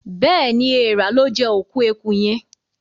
Béèni Èèrà lọ jé òkú ẹkú yén.